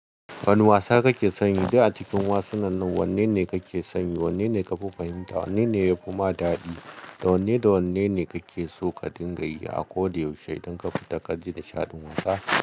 Wani wasa kake san yi da a cikin wasannin nan wanne ne kake son yi? Wanne ne ka fi fahimta? Wanne ne yafi ma daɗi da wanne da wanne ne kake so ka dinga yi a ko da yaushe idan ka fita ka ji nishaɗin wasa?